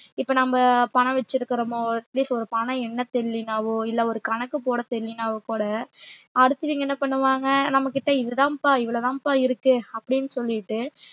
இப்ப நம்ம பணம் வச்சிருக்கிறோமோ at least ஒரு பணம் எண்ணத் தெரியலைன்னாவோ இல்லை ஒரு கணக்கு போட தெரியலைனாவோ கூட அடுத்தவிங்க என்ன பண்ணுவாங்க நம்மகிட்ட இதுதாம்ப்பா இவ்வளவுதாம்பா இருக்கு அப்பிடின்னு சொல்லிட்டு